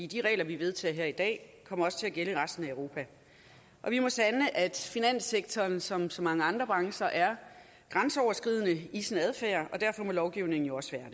de regler vi vedtager her i dag kommer også til at gælde i resten af europa vi må sande at finanssektoren som så mange andre brancher er grænseoverskridende i sin adfærd og derfor må lovgivningen jo også